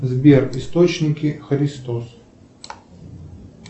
сбер источники христос